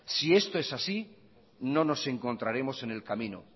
si esto es así no nos encontraremos en el camino